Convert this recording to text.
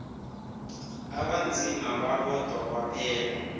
abanzima babodwa kwaphela